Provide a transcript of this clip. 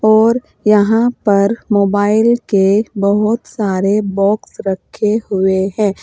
और यहां पर मोबाइल के बहोत सारे बॉक्स रखे हुए हैं।